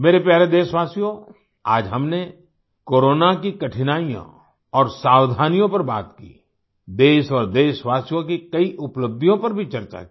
मेरे प्यारे देशवासियोंआज हमने कोरोना की कठिनाइयों और सावधानियों पर बात की देश और देशवासियों की कई उपलब्धियों पर भी चर्चा की